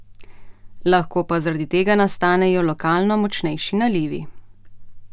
Lahko pa zaradi tega nastanejo lokalno močnejši nalivi.